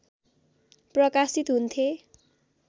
प्रकाशित हुन्थे